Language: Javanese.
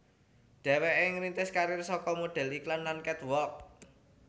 Dhéwéké ngrintis karir saka modhél iklan lan catwalk